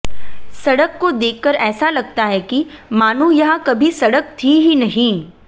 सड़क को देखकर ऐसा लगता है कि मानो यहां कभी सड़क थी ही नहीं